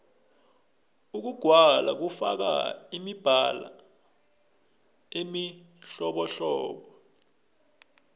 ukugwala kufaka imibala emihlobohlobo